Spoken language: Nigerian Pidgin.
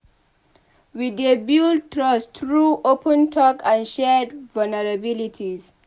We dey build trust through open talk and shared vulnerabilities.